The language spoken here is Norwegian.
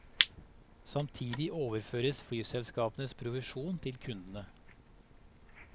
Samtidig overføres flyselskapenes provisjon til kundene.